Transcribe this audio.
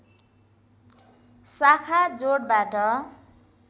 शाखा जोडबाट